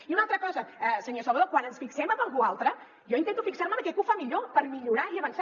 i una altra cosa senyor salvadó quan ens fixem en algú altre jo intento fixar·me en aquell que ho fa millor per millorar i avançar